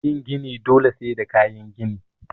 Yin gini dole sai da kayan gini